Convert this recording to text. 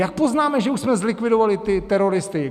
Jak poznáme, že už jsme zlikvidovali ty teroristy?